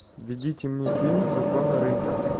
введите мне фильм законы рынка